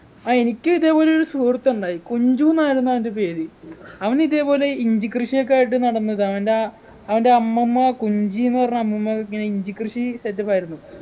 ആ എനിക്കിതെപോലെ ഒരു സുഹൃത്തുണ്ടായി കുഞ്ചുന്നായിരുന്നു അവൻ്റെ പേര് അവനിതെപോലെ ഇഞ്ചികൃഷിയൊക്കെയായിട്ടു നടന്നതാ അവൻ്റെ അവൻ്റെ അമ്മമ്മ കുഞ്ചിന്നു പറഞ്ഞ അമ്മമ്മ ഇങ്ങനെ ഇഞ്ചിക്കൃഷി set up ആയിരുന്നു